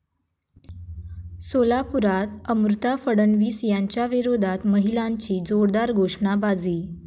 सोलापूरात अमृता फडणवीस यांच्याविरोधात महिलांची जोरदार घोषणाबाजी